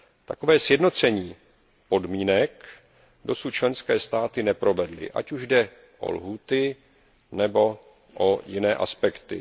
Takové sjednocení podmínek dosud členské státy neprovedly, ať už jde o lhůty nebo o jiné aspekty.